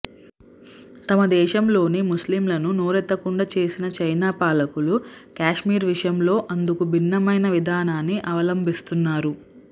తమ దేశంలోని ముస్లింలను నోరెత్తకుండా చేసిన చైనా పాలకులు కశ్మీర్ విషయంలో అందుకు భిన్నమైన విధానాన్ని అవలంబిస్తున్నారు